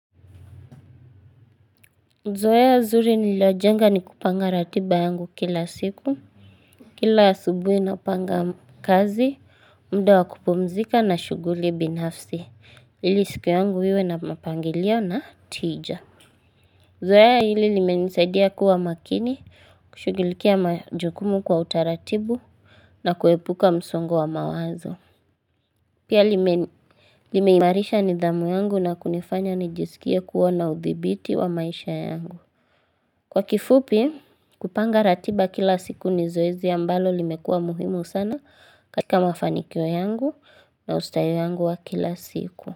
Zoea zuri nililo jenga ni kupanga ratiba yangu kila siku Kila asubuhi napanga kazi mda wa kupumzika na shughuli binafsi ili siku yangu iwe na mapangilio na tija zoea hili limenisaidia kuwa makini kushughilikia majukumu kwa utaratibu na kuepuka msongo wa mawazo Pia lime limeimarisha nidhamu yangu na kunifanya nijisikie kuwa na udhibiti wa maisha yangu Kwa kifupi, kupanga ratiba kila siku ni zoezi ambalo limekua muhimu sana. Katika mafanikio yangu na ustayo yangu wa kila siku.